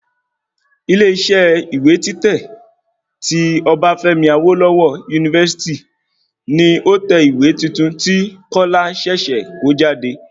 Ilé isẹ́ ìwé títẹ̀ tí Obafemi Awolowo University ni ó tẹ ìwé tuntun tí kọ́lá ṣẹ̀ṣẹ̀ kọ jáde